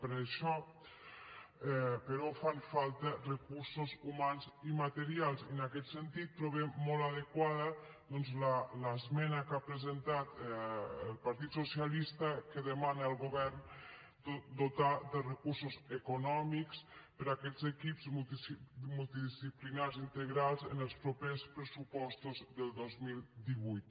per a això però fan falta recursos humans i materials i en aquest sentit trobem molt adequada doncs l’esmena que ha presentat el partit socialista que demana al govern dotar de recursos econòmics aquests equips multidisciplinaris integrals en els propers pressupostos del dos mil divuit